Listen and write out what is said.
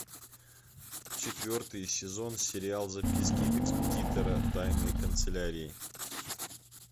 четвертый сезон сериал записки экспедитора тайной канцелярии